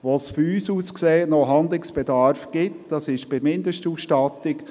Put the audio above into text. Wo von uns aus gesehen noch Handlungsbedarf besteht, ist bei der Mindestausstattung.